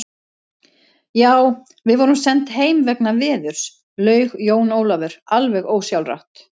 Já, við vorum send heim vegna veðurs, laug Jón Ólafur alveg ósjálfrátt.